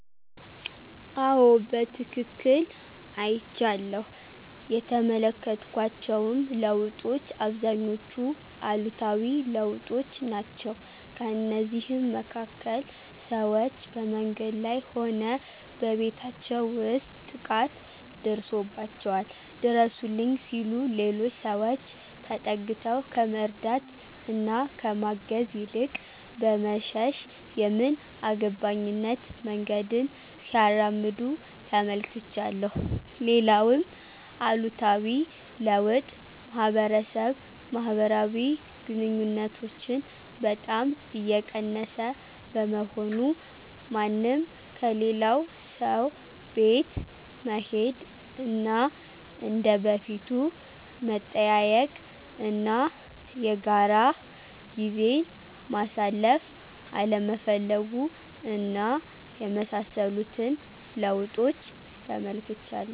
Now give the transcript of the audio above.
አዎ በትክክል አይቻለሁ። የተመለከትኳቸውም ለውጦች አብዛኞቹ አሉታዊ ለውጦች ናቸው። ከእነዚህም መካከል፦ ሰዎች በመንገድ ላይ ሆነ በቤታቸው ውስጥ ጥቃት ደርሶባቸዋል ድረሱልኝ ሲሉ ሌሎች ሰዎች ተጠግተው ከመርዳት እና ከማገዝ ይልቅ በመሸሽ የምን አገባኝነት መንገድን ሲያራምዱ ተመልክቻለሁ። ሌላውም አሉታዊ ለውጥ ማህበረሰብ ማህበራዊ ግንኙነቶችን በጣም እየቀነሰ በመሆኑ፤ ማንም ከሌላው ሰው ቤት መሄድ እና እንደ በፊቱ መጠያየቅ እና የጋራ ጊዜን ማሳለፍ አለመፈለጉ እና የመሳሰሉትን ለውጦች ተመልክቻለሁ።